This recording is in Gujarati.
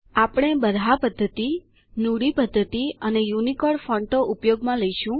આપણે બરહા પદ્ધતિ નુડી પદ્ધતિ અને યુનિકોડ ફોન્ટો ઉપયોગમાં લઈશું